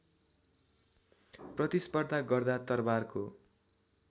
प्रतिस्पर्धा गर्दा तरवारको